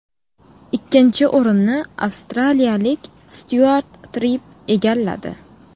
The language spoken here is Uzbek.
Ikkinchi o‘rinni avstraliyalik Styuart Tripp egalladi.